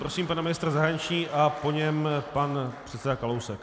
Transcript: Prosím pana ministra zahraničí a po něm pan předseda Kalousek.